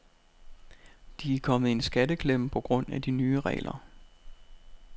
De er kommet i en skatteklemme på grund af de nye regler.